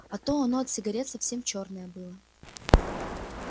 а то оно от сигарет совсем чёрное было